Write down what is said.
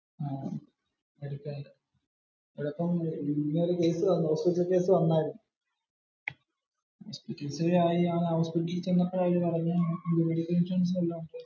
ഇതിപ്പോ ഇങ്ങനെ ഒരു hospital case വന്നാല്.